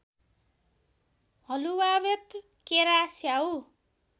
हलुवावेत केरा स्याउ